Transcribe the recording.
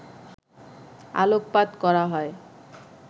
আলোকপাত করা হয়